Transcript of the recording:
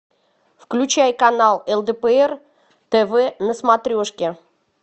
включай канал лдпр тв на смотрешке